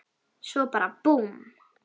Svo bara búmm.